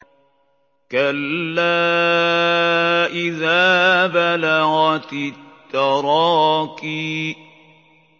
كَلَّا إِذَا بَلَغَتِ التَّرَاقِيَ